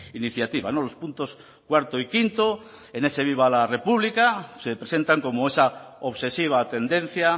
iniciativa los puntos cuarto y quinto en ese viva la república se presentan como esa obsesiva tendencia